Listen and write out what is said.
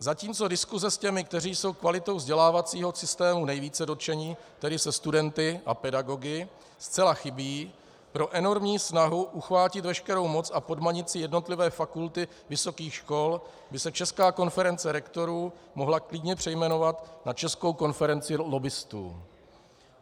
Zatímco diskuse s těmi, kteří jsou kvalitou vzdělávacího systému nejvíce dotčeni, tedy se studenty a pedagogy, zcela chybí, pro enormní snahu uchvátit veškerou moc a podmanit si jednotlivé fakulty vysokých škol by se Česká konference rektorů mohla klidně přejmenovat na Českou konferenci lobbistů.